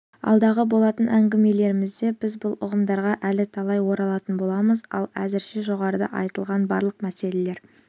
алдағы болатын әңгімелерімізде біз бұл ұғымдарға әлі талай оралатын боламыз ал әзірше жоғарыда айтылған барлық мәселелер